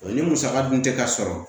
Ni musaka dun tɛ ka sɔrɔ